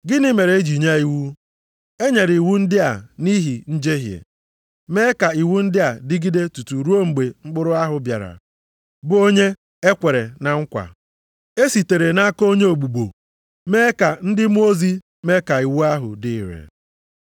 Gịnị mere e ji nye iwu? E nyere iwu ndị a nʼihi njehie, mee ka iwu ndị a dịgide tutu ruo mgbe mkpụrụ ahụ bịara, bụ onye e kwere na nkwa. E sitere nʼaka onye ogbugbo mee ka ndị mmụọ ozi mee ka iwu ahụ dị ire.